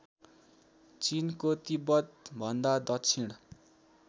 चिनको तिब्बतभन्दा दक्षिण